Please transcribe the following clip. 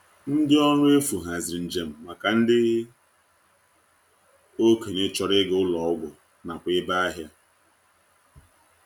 Ndi ọrụ efu haziri njem maka ndị okenye chọrọ ịga ụlọ ọgwụ nakwa ebe ahịa.